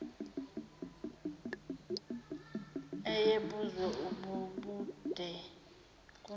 ayebuzwe bubude kunabo